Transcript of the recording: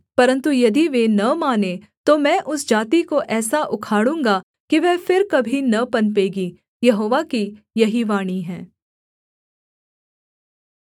परन्तु यदि वे न मानें तो मैं उस जाति को ऐसा उखाड़ूँगा कि वह फिर कभी न पनपेगी यहोवा की यही वाणी है